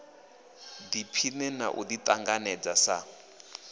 ḓiphine na u ḓiṱanganedza sa